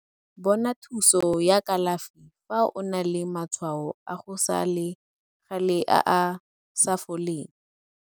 Bona thuso ya kalafi fa o na le matshwao a go sa le gale a a sa foleng.